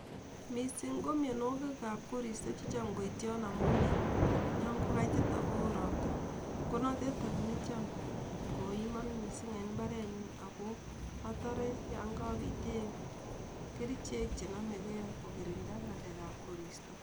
Misiing' ko mianwogikap koristo checham koityon amun olinyon ko kaitit ago woo ropta konotet any necham koimon misiing' en mbarenyun ago atore yon kopiten kerichek chenomege kokirinda ng'alekap koristo